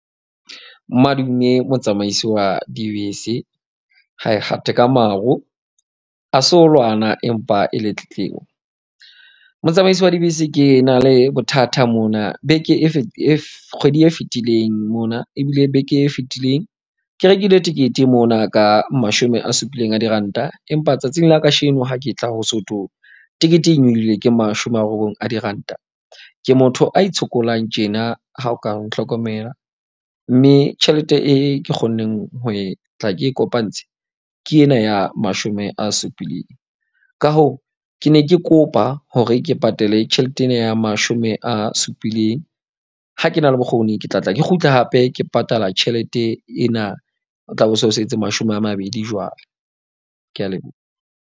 Madume motsamaisi wa dibese ha e kgate ka maro a so lwana empa e le tletlebo. Motsamaisi wa dibese ke na le bothata mona. Beke e kgwedi e fetileng mona ebile beke e fetileng. Ke rekile tekete mona ka mashome a supileng a diranta. Empa tsatsing la kasheno ha ke tla ho so thwo tekete e nyolohile ke mashome a robong a diranta. Ke motho a itshokolang tjena. Ha o ka o nhlokomela, mme tjhelete e ke kgonneng ho e tla ke kopantshe ke ena ya mashome a supileng. Ka hoo, ke ne ke kopa hore ke patale tjhelete ena ya mashome a supileng. Ha ke na le bokgoni, ke tla tla ke kgutle hape ke patala tjhelete ena. Ho tla be bo so setse mashome a mabedi jwale. Ke a leboha.